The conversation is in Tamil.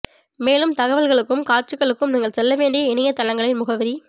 மேலும் தகவல்களுக்கும் காட்சிகளுக்கும் நீங்கள் செல்ல வேண்டிய இணைய தளங்களின் முகவரி